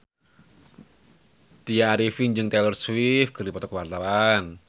Tya Arifin jeung Taylor Swift keur dipoto ku wartawan